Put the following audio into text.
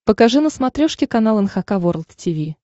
покажи на смотрешке канал эн эйч кей волд ти ви